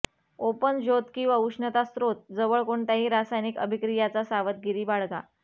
open ज्योत किंवा उष्णता स्रोत जवळ कोणत्याही रासायनिक अभिक्रियाचा सावधगिरी बाळगा